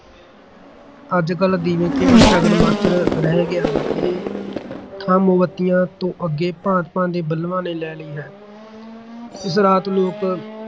ਅੱਜ-ਕਲ੍ਹ ਦੀਵੇ ਕੇਵਲ ਸ਼ਗਨ ਮਾਤਰ ਰਹਿ ਗਏ ਹਨ। ਇਹ ਥਾਂ ਮੋਮਬੱਤੀਆਂ ਤੋਂ ਅਗੋਂ ਭਾਂਤ-ਭਾਂਤ ਦੇ ਬਲਬਾਂ ਨੇ ਲੈ ਲਈ ਹੈ ਇਸ ਰਾਤ ਲੋਕ